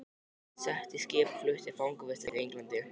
Sett í skip og flutt til fangavistar í Englandi!